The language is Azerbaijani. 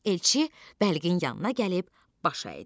Elçi bəlgin yanına gəlib baş əydi.